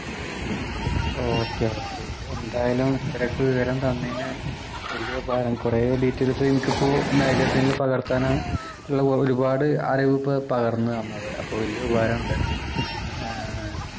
okay okay എന്തായാലും ഇത്രയ്ക്ക് വിവരം തന്നേന് വലിയ ഉപകാരം കുറേ details എനിക്ക് ഇപ്പൊ magazine ല് പകർത്താന് ഒരുപാട് അറിവ് ഇപ്പൊ ഒരുപാട് അറിവ് ഇപ്പൊ പകർന്ന് തന്നത് അപ്പൊ വലിയ ഉപകാരം ഉണ്ട് ആഹ്